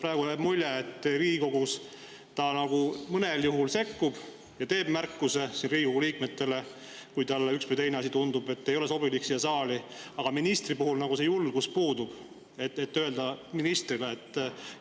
Praegu jääb mulje, et ta mõnel juhul nagu sekkub ja teeb märkuse Riigikogu liikmele, kui talle tundub, et üks või teine asi ei ole siia saali sobilik, aga ministri puhul nagu puudub julgus seda ministrile öelda.